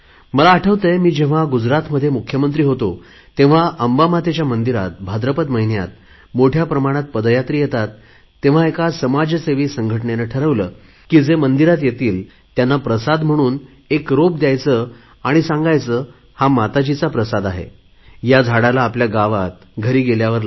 मला आठवतय मी जेव्हा गुजरातमध्ये मुख्यमंत्री होतो तेव्हा अंबामातेच्या मंदिरात भाद्रपद महिन्यात मोठया प्रमाणात पदयात्री येतात तेव्हा एका समाजसेवी संघटनेने ठरवले की जे मंदिरात येतील त्यांना प्रसाद म्हणून एक रोप दयायचे आणि सांगायचे हा माताजीचा प्रसाद आहे या झाडालाआपल्या गावात घरी गेल्यावर लावा